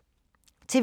TV 2